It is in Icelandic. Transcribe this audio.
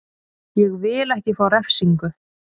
Ég vil ekki fá refsingu.